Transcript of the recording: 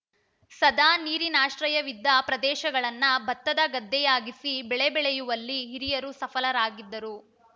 ಸದಾ ನೀರಿನಾಶ್ರಯವಿದ್ದ ಪ್ರದೇಶಗಳನ್ನು ಭತ್ತದ ಗದ್ದೆಯಾಗಿಸಿ ಬೆಳೆ ಬೆಳೆಯುವಲ್ಲಿ ಹಿರಿಯರು ಸಫಲರಾಗಿದ್ದರು